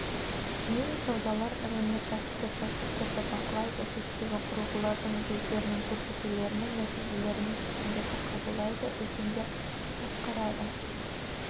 мен саудалар ірі өнеркәсіпті процестерді бақылайды шеттегі құрылғылардың жүздерінің көрсетулерінің нәтижелерімен шешімдерді қабылдайды үлкендер басқарады